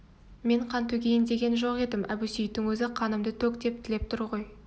мен қан төгейін деген жоқ едім әбусейіттің өзі қанымды төк деп тілеп тұр ғой